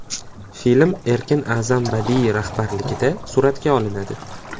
Film Erkin A’zam badiiy rahbarligida suratga olinadi.